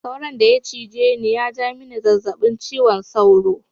Sauron daya cije ni yaja mini zazzabin ciwon sauro.